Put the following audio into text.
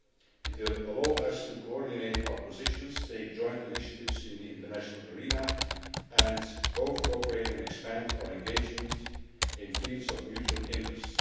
It will allow us to coordinate our positions, take joint initiatives in the international arena, and both cooperate and expand our engagement in fields of mutual interest.